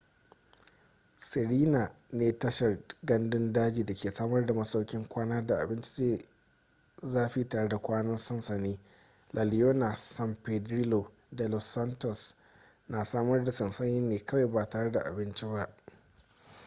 sirena ne tashar gandun daji da ke samar da masaukin kwana da abinci mai zafi tare da kwanan sansani la leona san pedrillo da los patos na samar da sansani ne kawai ba tare da abinci ba